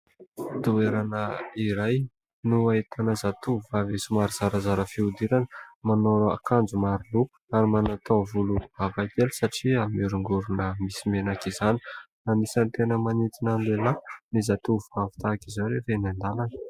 Toerana iray no ahitana zatovovavy somary zarazara fihodirana. Manao akanjo maro loko ary manao taovolo hafakely satria miorongorona misy menaka izany. Anisany tena manintona ny lehilahy ny zatovovavy tahak'izao rehefa eny an-dalana.